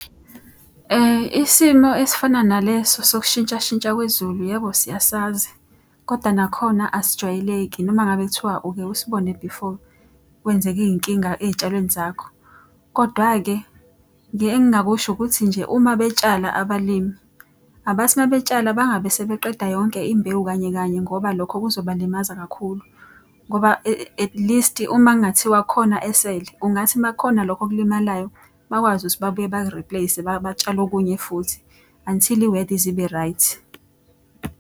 Isimo esifana naleso sokushintshashintsha kwezulu yebo siyasazi, koda nakhona asijwayeleki noma ngabe kuthiwa uke usibone before kwenzeke iy'nkinga ey'tshalweni zakho. Kodwa-ke engingakusho ukuthi nje uma betshala abalimi, abathi uma betshala bangabe sebeqeda yonke imbewu kanye kanye ngoba lokho kuzobalimaza kakhulu. Ngoba atleast uma kungathiwa khona esele, kungathi uma kukhona lokhu okulimalayo bakwazi ukuthi babuye baku-replace. batshale okunye futhi, until i-weather ize ibe right.